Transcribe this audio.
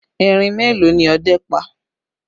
Erin mélòó ni ọdẹ́ pa?